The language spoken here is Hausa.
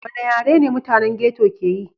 Wanɗa yare ne mutanen ghetto ƙe yi?